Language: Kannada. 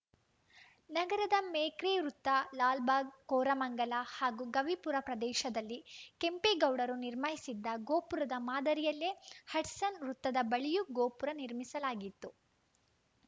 ನಗರದ ಮೇಕ್ರಿ ವೃತ್ತ ಲಾಲ್‌ಬಾಗ್‌ ಕೋರಮಂಗಲ ಹಾಗೂ ಗವಿಪುರ ಪ್ರದೇಶದಲ್ಲಿ ಕೆಂಪೇಗೌಡರು ನಿರ್ಮಾಯಿಸಿದ್ದ ಗೋಪುರದ ಮಾದರಿಯಲ್ಲೇ ಹಡ್ಸನ್‌ ವೃತ್ತದ ಬಳಿಯೂ ಗೋಪುರ ನಿರ್ಮಿಸಲಾಗಿತ್ತು